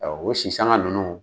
O sisanga ninnu